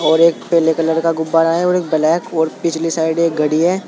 और एक पीले कलर का गुब्बारा है और ब्लैक और पिछली साइड एक घड़ी है।